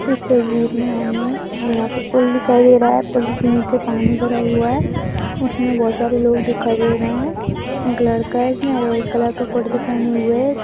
इस तस्वीर में हमें यहां पे पुल दिखाई दे रहा है । पुल के नीचे पानी भरा हुआ है इसमें बहुत सारे लोग दिखाई दे रहे हैं। एक लड़का है जिसने ऑरेंज कलर का कुर्ता पहने हुए है। इस--